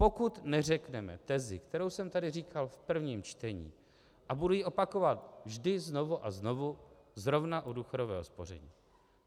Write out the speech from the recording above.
Pokud neřekneme tezi, kterou jsem tady říkal v prvním čtení a budu ji opakovat vždy znovu a znovu zrovna u důchodového spoření.